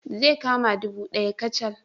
Zai kama ɗubu ɗaya kacal